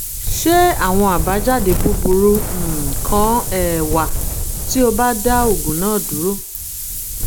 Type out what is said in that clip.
ṣé àwọn àbájáde búburú um kan um wà tí o bá dá oògùn náà dúró?